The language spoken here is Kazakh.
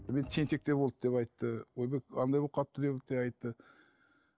мен тентектеу болды деп айтты ойбай андай болып қалыпты деп те айтты